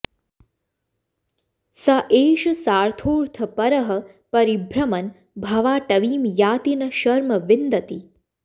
स एष सार्थोऽर्थपरः परिभ्रमन् भवाटवीं याति न शर्म विन्दति